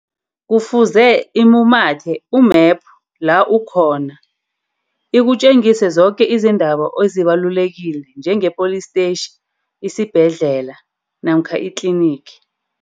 Kufuze imumathe u-map la ukhona. Ikutjengise zoke izinto zabo ezibalulekile njenge-police station, isibhedlela namkha iklinigi.